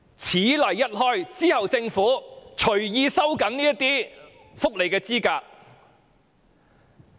此例一開，政府以後就可隨意收緊申領福利的資格。